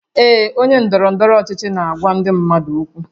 Ee, onye ndọrọ ndọrọ ọchịchị na-agwa ndị mmadụ okwu